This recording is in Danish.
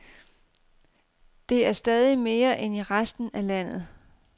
Det er stadig mere end i resten af landet.